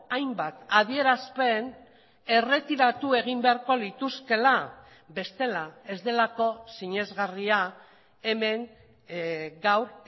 hainbat adierazpen erretiratu egin beharko lituzkeela bestela ez delako sinesgarria hemen gaur